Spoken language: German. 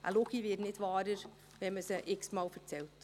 Eine Lüge wird nicht wahrer, wenn man sie x-mal erzählt.